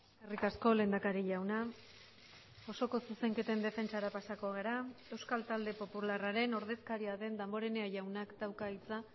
eskerrik asko lehendakari jauna osoko zuzenketen defentsara pasako gara euskal talde popularraren ordezkaria den damborenea jaunak dauka hitza